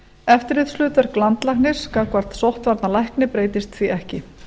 eftirlitshlutverk landlæknis gagnvart sóttvarnalækni breytist því ekki